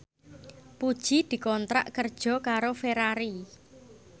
Puji dikontrak kerja karo Ferrari